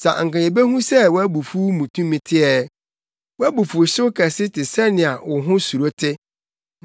Sɛ anka yebehu sɛ wʼabufuw mu tumi te ɛ! Wʼabufuwhyew kɛse te sɛnea wo ho suro te.